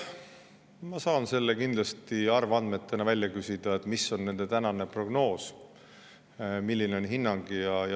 Ma saan kindlasti arvandmed välja küsida, et mis on nende tänane prognoos, milline on hinnang.